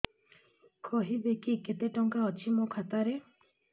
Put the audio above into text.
କହିବେକି କେତେ ଟଙ୍କା ଅଛି ମୋ ଖାତା ରେ